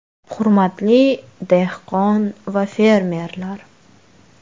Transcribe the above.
Hurmatli dehqon va fermerlar!